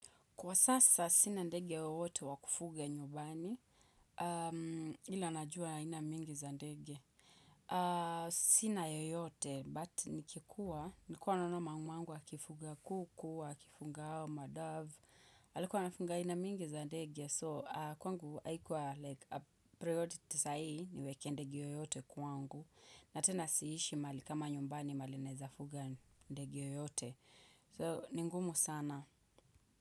Kwa sasa sina ndege wowote wa kufuga nyumbani, ila najua ina mingi za ndege. Sina yoyote, but nikikuwa, nikuwa anonoma mwangu wakifuga kukuwa, wakifunga hawa, madaf, alikuwa anafunga ina mingi zandegi ya so kwangu haikuwa like a priority sa ii niwekiendegi yoyote kwangu. Na tena siishi mali kama nyumbani mahali naezafuga ndege yoyote. So, ni ngumu sana.